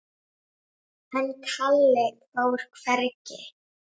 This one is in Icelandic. En Kalli fór hvergi.